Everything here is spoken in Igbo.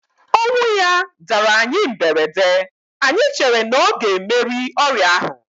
Ọnwụ ya dara anyị mberede, anyị chere na ọ ga emeri ọrịa ahu